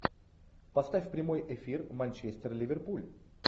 поставь прямой эфир манчестер ливерпуль